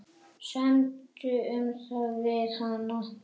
Semdu um það við hann.